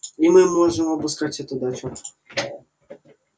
и мы можем обыскать эту дачу